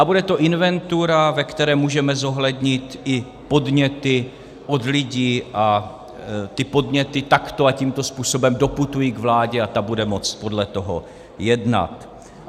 A bude to inventura, ve které můžeme zohlednit i podněty od lidí, a ty podněty takto a tímto způsobem doputují k vládě a ta bude moct podle toho jednat.